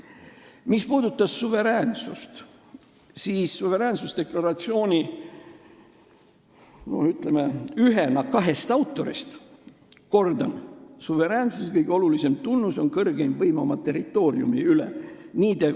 Mis puudutab suveräänsust, siis ühena kahest suveräänsusdeklaratsiooni autorist ma kordan: suveräänsuse kõige olulisem tunnus on kõrgeim võim oma territooriumi üle.